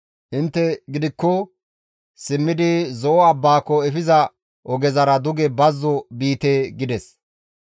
Intte gidikko simmidi Zo7o abbaako efiza ogezara duge bazzo biite» gides.